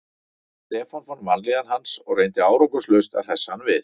Stefán fann vanlíðan hans og reyndi árangurslaust að hressa hann við.